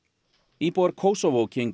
íbúar Kosovo gengu